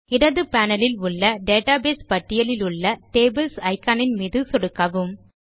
இடது பேனல் இல் உள்ள டேட்டாபேஸ் பட்டியலிலுள்ள டேபிள்ஸ் iconஇன் மீது சொடுக்குவோம்